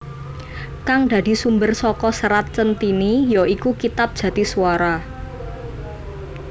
Kang dadi sumber saka Serat Centhini ya iku kitab Jatiswara